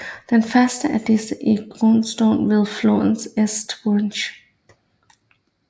Den første af disse findes i Grindstone ved flodens East Branch